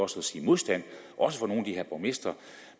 sige modstand også fra nogle af de her borgmestre